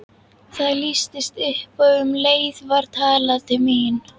Það lýstist upp og um leið var talað til mín.